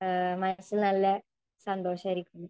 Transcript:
ആ മനസ്സിൽ നല്ല സന്തോഷമായിരിക്കും .